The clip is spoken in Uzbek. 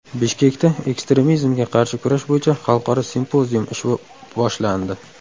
Bishkekda ekstremizmga qarshi kurash bo‘yicha xalqaro simpozium ishi boshlandi.